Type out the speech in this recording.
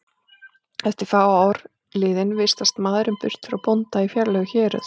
Eftir fá ár liðin vistast maðurinn burt frá bónda í fjarlæg héröð.